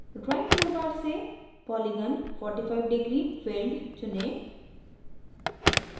drawing tool bar से polygon 45 degree filled चुनें